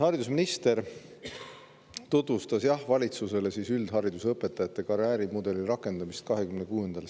Haridusminister tutvustas, jah, 26. septembril valitsusele üldharidus õpetajate karjäärimudeli rakendamist.